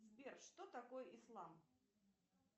сбер что такое ислам